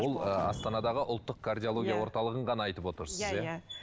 ол ы астанадағы ұлттық кардиология орталығын ғана айтып отырсыз иә иә